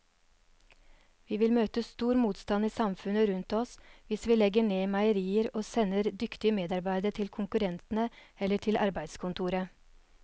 Vi vil møte stor motstand i samfunnet rundt oss hvis vi legger ned meierier og sender dyktige medarbeidere til konkurrentene eller til arbeidskontoret.